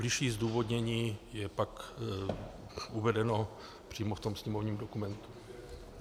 Bližší zdůvodnění je pak uvedeno přímo v tom sněmovním dokumentu.